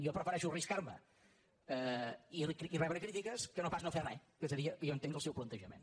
jo prefereixo arriscar·me i rebre crítiques que no pas no fer re que seria jo entenc el seu plan·tejament